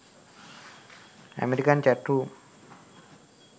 american chat room